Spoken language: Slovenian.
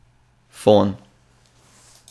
Fon.